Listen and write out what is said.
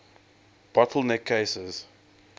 bottle neck cases